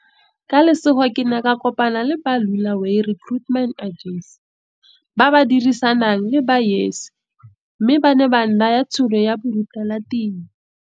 Ka lesego ke ne ka kopana le ba Lu laway Recruitment Agency ba ba dirisanang le ba YES mme ba ne ba nnaya tšhono ya borutelatiro.